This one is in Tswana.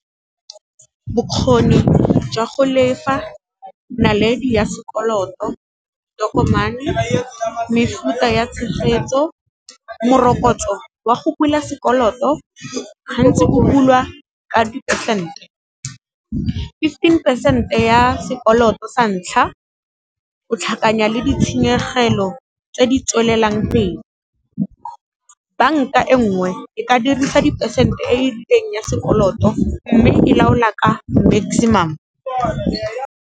Bokgoni jwa go lefa naledi ya sekoloto, tokomane, mefuta ya tshegetso, morokotso wa go bula sekoloto gantsi o bulwa ka di-percent-e. Fifteen percent-e ya sekoloto sa ntlha o tlhakanya le ditshenyegelo tse di tswelelang pele, banka e ngwe e ka dirisa di-percent-e e e dirileng ya sekoloto mme e laola ka maximum.